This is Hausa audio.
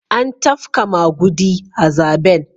An tafka magudi a zaben.